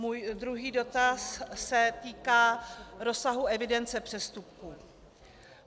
Můj druhý dotaz se týká rozsahu evidence přestupků.